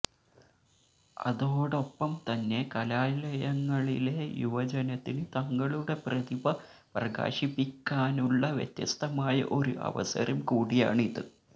അതോടൊപ്പംതന്നെ കലാലയങ്ങളിലെ യുവജനത്തിന് തങ്ങളുടെ പ്രതിഭ പ്രകാശിപ്പിക്കാനുള്ള വ്യത്യസ്തമായ ഒരു അവസരം കൂടിയാണിത്